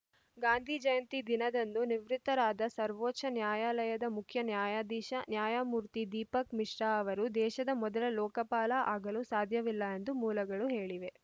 ಗಾಂಧೀ ಜಯಂತಿ ದಿನದಂದು ನಿವೃತ್ತರಾದ ಸರ್ವೋಚ್ಚ ನ್ಯಾಯಾಲಯದ ಮುಖ್ಯ ನ್ಯಾಯಾಧೀಶ ನ್ಯಾಯಮೂರ್ತಿ ದೀಪಕ್‌ ಮಿಶ್ರಾ ಅವರು ದೇಶದ ಮೊದಲ ಲೋಕಪಾಲ ಆಗಲು ಸಾಧ್ಯವಿಲ್ಲ ಎಂದು ಮೂಲಗಳು ಹೇಳಿವೆ